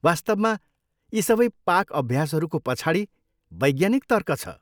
वास्तवमा यी सबै पाक अभ्यासहरूको पछाडि वैज्ञानिक तर्क छ।